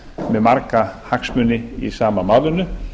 með marga hagsmuni í sama málinu